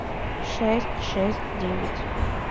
шесть шесть девять